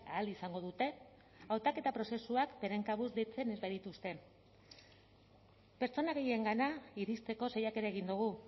ahal izango dute hautaketa prozesuak beren kabuz deitzen ez badituzte pertsona gehiengana iristeko saiakera egin dugu